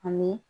Ani